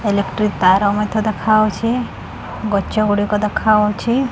Electric ତାର ମଧ୍ୟ ଦେଖାଯାଉଛି ଗଛଗୁଡ଼ିକ ଦେଖାଯାଉଛି।